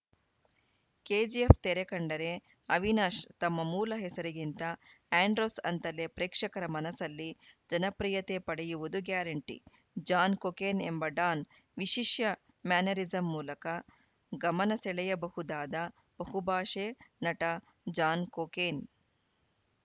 KGF ತೆರೆ ಕಂಡರೆ ಅವಿನಾಶ್‌ ತಮ್ಮ ಮೂಲ ಹೆಸರಿಗಿಂತ ಆ್ಯಂಡ್ರೋಸ್‌ ಅಂತಲೇ ಪ್ರೇಕ್ಷಕರ ಮನಸಲ್ಲಿ ಜನಪ್ರಿಯತೆ ಪಡೆಯುವುದು ಗ್ಯಾರಂಟಿ ಜಾನ್‌ ಕೊಕೇನ್‌ ಎಂಬ ಡಾನ್‌ ವಿಶಿಷ್ಯ ಮ್ಯಾನರಿಸಂ ಮೂಲಕ ಗಮನೆ ಸೆಳೆಯಬಹುದಾದ ಬಹು ಭಾಷೆ ನಟ ಜಾನ್‌ ಕೊಕೇನ್‌